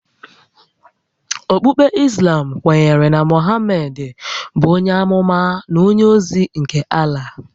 Okpukpe Islam kwenyere na Mohamedị bụ onye ámúmá na onye ózí nke Allah